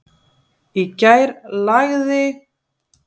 Í gær lagði????